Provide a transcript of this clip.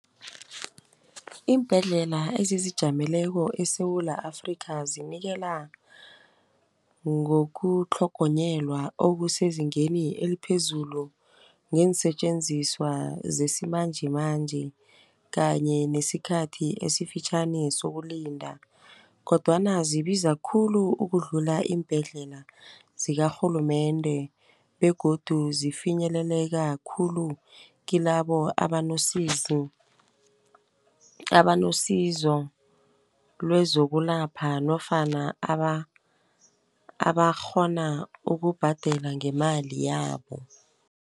Iimbhedlela ezizijameleko eSewula Afrika zinikela ngokutlhogonyelwa okusezingeni eliphezulu ngeensetjenziswa zesimanjemanje, kanye nesikhathi esifitjhani sokulinda. kodwana zibiza khulu ukudlula iimbhedlela zikarhulumende begodu zifinyeleleka khulu kilabo abanosizo lezokwelapha nofana abakghona ukubhadela ngemali yabo.